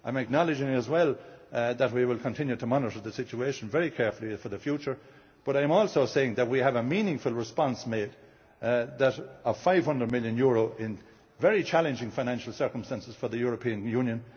I acknowledge as well that we will continue to monitor the situation very carefully for the future, but I am also saying that we made a meaningful response of EUR 500 million in very challenging financial circumstances for the European